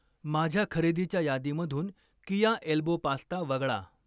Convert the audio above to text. माझ्या खरेदीच्या यादीमधून कीया एल्बो पास्ता वगळा